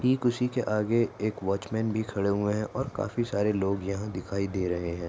ठीक उसी के आगे एक वॉचमेन भी खड़े हुए है और काफी सारे लोग यहाँ दिखाई दे रहे है।